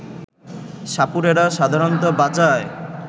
সাপুড়েরা সাধারণত বাজায়